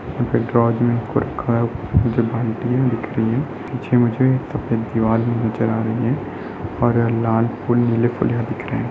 ये ड्रोज मे दिख रही हैं पीछे मुझे सफेद दीवाल नजर आ रही है और यहाँ लाल फूल नीले --]